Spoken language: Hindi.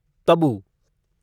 तबू